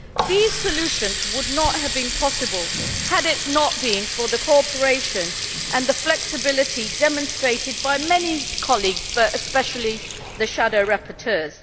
These solutions would not have been possible had it not been for the cooperation and flexibility demonstrated by many colleagues and especially the shadow rapporteurs.